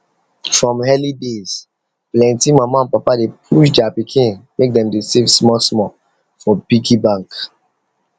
from early days plenty mama and papa dey push their pikin make dem dey save small small for piggy bank